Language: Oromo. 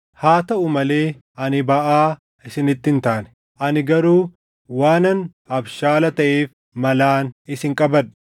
Haa taʼuu malee ani baʼaa isinitti hin taane. Ani garuu waanan abshaala taʼeef malaan isin qabadhe.